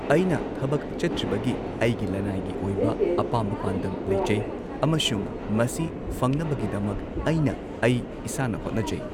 ꯑꯩꯅ ꯊꯕꯛ ꯆꯠꯇ꯭ꯔꯤꯕꯒꯤ ꯑꯩꯒꯤ ꯂꯟꯅꯥꯏꯒꯤ ꯑꯣꯏꯕ ꯑꯄꯥꯝꯕ ꯄꯥꯟꯗꯝ ꯂꯩꯖꯩ ꯑꯃꯁꯨꯡ ꯃꯁꯤ ꯐꯪꯅꯕꯒꯤꯗꯃꯛ ꯑꯩꯅ ꯑꯩ ꯏꯁꯥꯅ ꯍꯣꯠꯅꯖꯩ꯫